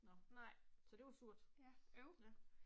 Nåh, så det var surt. Ja